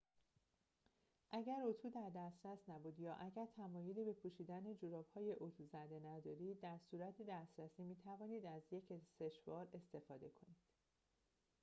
اگر اتو در دسترس نبود یا اگر تمایلی به پوشیدن جوراب‌های اتو زده ندارید در صورت دسترسی می‌توانید از یک سشوار استفاده کنید